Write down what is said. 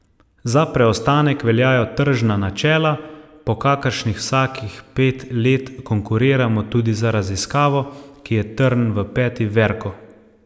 Za preostanek veljajo tržna načela, po kakršnih vsakih pet let konkuriramo tudi za raziskavo, ki je trn v peti Verku.